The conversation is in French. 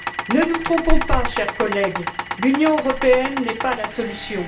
Ne nous trompons pas, chers collègues, l'Union européenne n'est pas la solution.